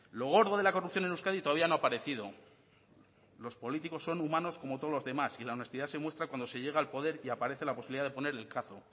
lo gordo de la corrupción en euskadi todavía no ha aparecido los políticos son humanos como todos los demás y la honestidad se muestra cuando se llega al poder y aparece la posibilidad de poner el cazo incluso